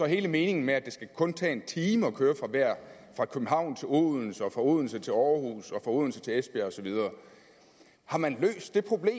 hele meningen med at det kun skal tage en time at køre fra københavn til odense og fra odense til århus og fra odense til esbjerg og så videre har man løst det problem